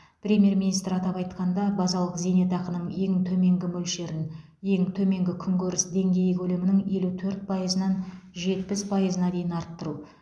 премьер министр атап айтқанда базалық зейнетақының ең төменгі мөлшерін ең төменгі күнкөріс деңгейі көлемінің елу төрт пайызынан жетпіс пайызына дейін арттыру